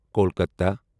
Kolkata